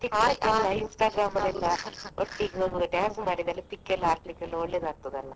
Instagram ಅಲ್ಲಿ dance ಮಾಡಿದ್ದು pic ಎಲ್ಲ ಹಾಕ್ಲಿಕ್ಕೆ ಒಳ್ಳೆದಾಗ್ತದೆ ಅಲ್ಲ.